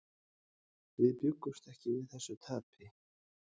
Við bjuggumst ekki við þessu tapi.